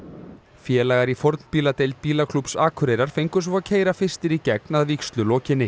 félagar í bílaklúbbs Akureyrar fengu svo að keyra fyrstir í gegn að vígslu lokinni